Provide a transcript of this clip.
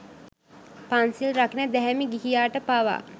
පන්සිල් රකින දැහැමි ගිහියාට පවා